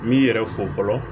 N b'i yɛrɛ fo fɔlɔ